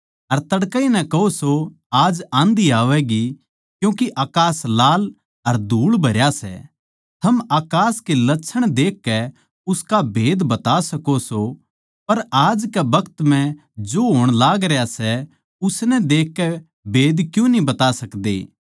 अर तड़कैए नै कहो सो आज आँधी आवैगी क्यूँके अकास लाल अर धूळभरया सै थम अकास के लछण देखकै उसका भेद बता सको सो पर आज कै बखत म्ह जो होण लाग रह्य सै उसनै देखकै भेद क्यूँ न्ही बता सकदे